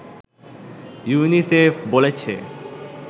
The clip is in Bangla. ইউনিসেফ বলেছে